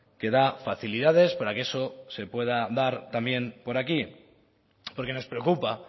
que da facilidades para que eso se pueda dar también por aquí porque nos preocupa